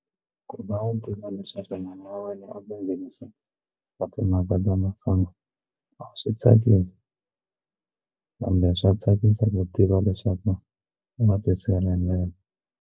Ku va u tiva leswaku u na a swi tsakisi kambe swa tsakisa ku tiva leswaku wa ti sirhelela.